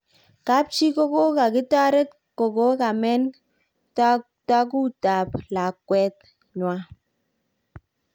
Kapchi kokokitaret kokokamen takukut ap lakwet kwan